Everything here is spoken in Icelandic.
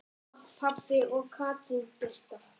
Mamma, pabbi og Katrín Birta.